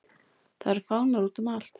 Það eru fánar útum allt.